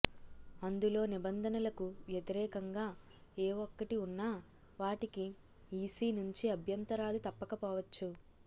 అందులో నిబంధనలకు వ్యతిరేకంగా ఏ ఒక్కటి ఉన్నా వాటికి ఈసీ నుంచి అభ్యంతరాలు తప్పకపోవచ్చు